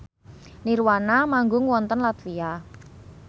nirvana manggung wonten latvia